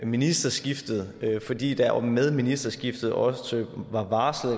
ministerskiftet fordi der jo med ministerskiftet også var varslet